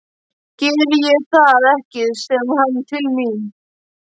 Geri ég það ekki, segir hann til mín.